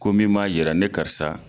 Ko min m'a yira ne karisa